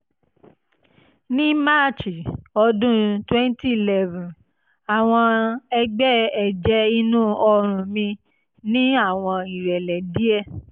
ní march ọdún twenty eleven àwọn ẹ̀gbẹ́ ẹ̀jẹ̀ inú ọrùn mi ní àwọn ìrẹ̀lẹ̀ díẹ̀